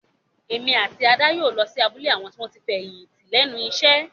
Èmi àti Adé yóò lọ sí abúlé àwọn tí wọ́n ti fẹ̀yìntì lẹ́nu iṣẹ́